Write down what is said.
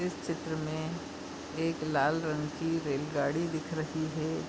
इस चित्र मे एक लाल रंग की रेलगाड़ी दिख रही हे।